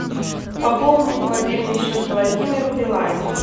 пополнить мобильный счет владимиру билайн